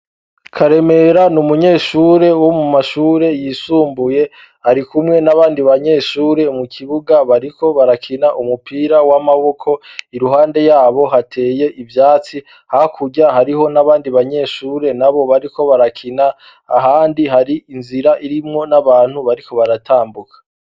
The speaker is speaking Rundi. Karemera ni umunyeshure wo mu mashure yisumbuye, ari kumwe n'abandi banyeshure mu kibuga bariko barakina umupira w'amaboko, i ruhande yabo hateye ivyatsi, hakurya hariho n'abandi banyeshure, nabo bariko barakina, ahandi hari inzira irimwo n'abantu bariko baratambuka.